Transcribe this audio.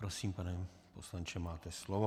Prosím, pane poslanče, máte slovo.